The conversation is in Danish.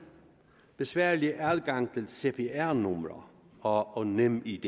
besværlige adgang til cpr numre og nemid